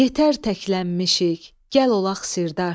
Yetər təklənmişik, gəl olaq sirdaş.